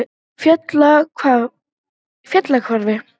Fellahvarfi